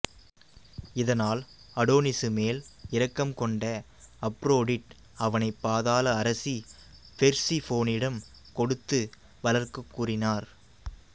இதனால் அடோனிசு மேல் இரக்கம் கொண்ட அப்ரோடிட் அவனைப் பாதாள அரசி பெர்சிஃபோனிடம் கொடுத்து வளர்க்கக் கூறினார்